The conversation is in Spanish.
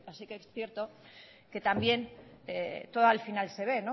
pero también es cierto que también todo al final se ve